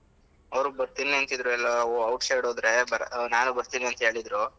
ಅವ್ರು ಬರ್ತೀನಿ ಅಂತಿದ್ರು ಎಲ್ಲ outside ಹೋದ್ರೆ ನಾನು ಬರ್ತೀನಿ ಅಂತ ಹೇಳಿದ್ರು.